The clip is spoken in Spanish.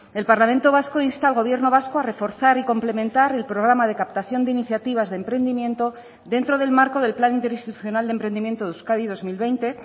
el parlamento vasco insta al gobierno vasco a reforzar y complementar el programa de captación de iniciativas de emprendimiento dentro del marco del plan interinstitucional de emprendimiento de euskadi dos mil veinte